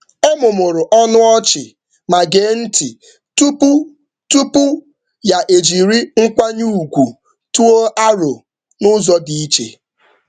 Ọ mụmụrụ ọnụ ọchị ma gee ntị tupu ya ejiri nkwanye ùgwù tụọ aro n’ụzọ dị iche.